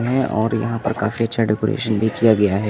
हैं और यहां पर काफी अच्छा डेकोरेशन भी किया गया है।